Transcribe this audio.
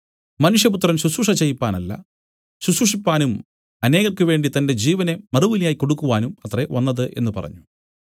മനുഷ്യപുത്രൻ ശുശ്രൂഷ ചെയ്യിപ്പാനല്ല ശുശ്രൂഷിപ്പാനും അനേകർക്കുവേണ്ടി തന്റെ ജീവനെ മറുവിലയായി കൊടുക്കുവാനും അത്രേ വന്നത് എന്നു പറഞ്ഞു